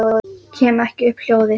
Kem ekki upp hljóði.